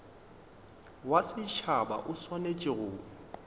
wa setšhaba o swanetše go